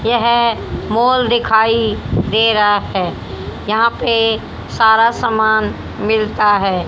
यह मॉल दिखाई दे रहा है यहां पे सारा सामान मिलता है।